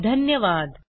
सहभागासाठी धन्यवाद